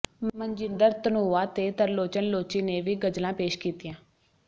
ਮਨਜਿੰਦਰ ਧਨੋਆ ਤੇ ਤਰਲੋਚਨ ਲੋਚੀ ਨੇ ਵੀ ਗ਼ਜ਼ਲਾਂ ਪੇਸ਼ ਕੀਤੀਆਂ